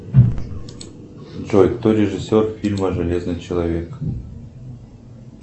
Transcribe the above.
джой кто режиссер фильма железный человек